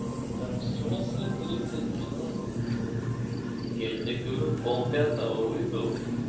да в смысле тридцать минут я тебе говорю в пол пятого выйду